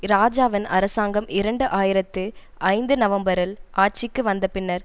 இராஜாவின் அரசாங்கம் இரண்டு ஆயிரத்தி ஐந்து நவம்பரில் ஆட்சிக்கு வந்த பின்னர்